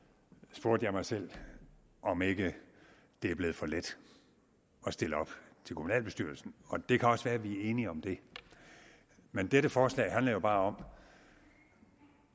spurgte jeg mig selv om ikke det er blevet for let at stille op til kommunalbestyrelsen og det kan også være at vi er enige om det men dette forslag handler jo bare om